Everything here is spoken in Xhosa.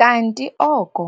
Kanti oko